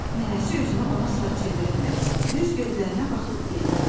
Nənəsi üzünü ona sarı çevirəndə düz gözlərinə baxıb dedi: